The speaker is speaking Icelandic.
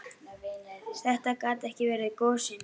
Þetta gat ekki verið gosinn.